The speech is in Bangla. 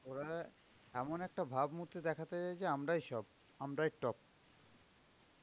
ওরা এমন একটা ভাবমূর্তি দেখাতে চাইছে আমরাই সব আমরাই top.